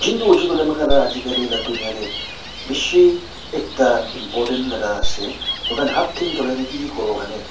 junti hoishey koilaeamikhan la ajikali laka dunye te bishi ekta important laka ase mohan hat think cholai na kiki kuriwolaerni.